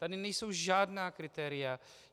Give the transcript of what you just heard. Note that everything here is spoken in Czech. Tady nejsou žádná kritéria.